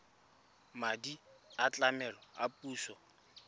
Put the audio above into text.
madi a tlamelo a puso